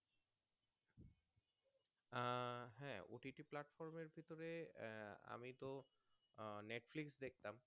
আহ হ্যাঁ OTT এর ভিতরে আমি তো আহ Netflix দেখতাম